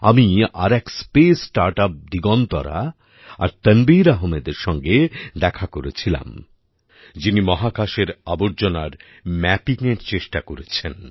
আমি আর এক স্পেস স্টার্ট ইউপি দিগন্তরা আর তানবীর আহমেদের সঙ্গে দেখা করে ছিলাম যিনি মহাকাশের আবর্জনার ম্যাপিংএর চেষ্টা করেছেন